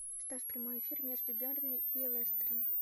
ставь прямой эфир между бернли и лестером